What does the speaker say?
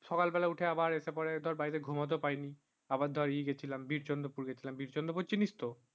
সকাল বেলায় এসেপড়ে বাড়িতে ঘুমাতে পারিনি আবার ধরে ই গেছিলাম বীরচন্দ্র পুর গেছিলাম বিরচন্দ্রপুর চিনিস তো